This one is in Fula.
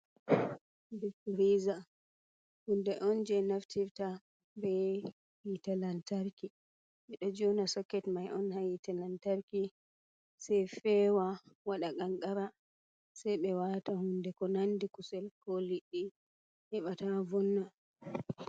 Difiriza hunde on je naftirta be hitelantarki ɓeɗo jona soket mai on ha hitelantarki sei fewa waɗa kankara sei ɓe wata hunde ko nandi kusel ko liɗɗi heɓa ta vonna.